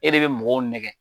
E de bɛ mɔgɔw nɛgɛ.